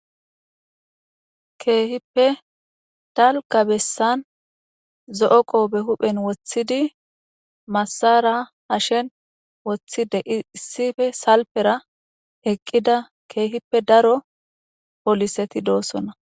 Keehippe dalga besan zo'o qope hi'en wothid masara hashen wothid issippe salpera eqida keehippe daro poliseti dosona.